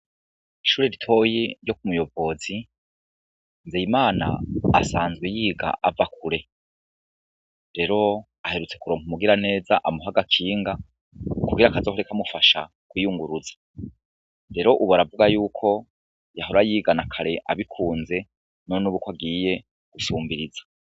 Ishuri ritoyi ryo ku Muyobozi, Nzeyimana asanzwe yiga ava kure, rero aherutse kuronka umugira neza amuha agakinga kugira kazohore kamufasha kwiyunguruza, rero ubu aravuga yuko yahora yiga na kare abikunze none k'ubu ko agiye gusumbiriza.